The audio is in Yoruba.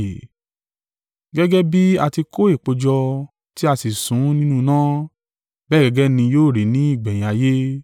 “Gẹ́gẹ́ bí a ti kó èpò jọ, tí a sì sun ún nínú iná, bẹ́ẹ̀ gẹ́gẹ́ ni yóò rí ní ìgbẹ̀yìn ayé.